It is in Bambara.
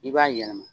I b'a yɛlɛma